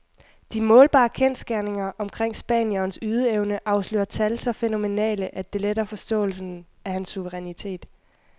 De målbare kendsgerninger omkring spanierens ydeevne afslører tal så fænomenale, at det letter forståelsen af hans suverænitet.